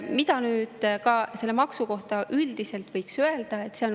Mida nüüd selle maksu kohta üldiselt veel võiks öelda?